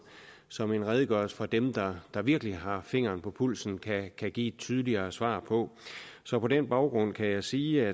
som en redegørelse fra dem der der virkelig har fingeren på pulsen kan kan give et tydeligere svar på så på den baggrund kan jeg sige